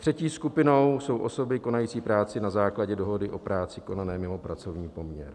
Třetí skupinou jsou osoby konající práci na základě dohody o práci konané mimo pracovní poměr.